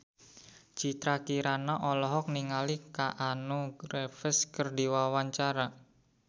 Citra Kirana olohok ningali Keanu Reeves keur diwawancara